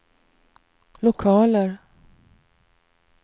lokaler